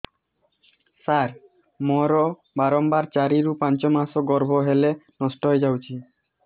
ସାର ମୋର ବାରମ୍ବାର ଚାରି ରୁ ପାଞ୍ଚ ମାସ ଗର୍ଭ ହେଲେ ନଷ୍ଟ ହଇଯାଉଛି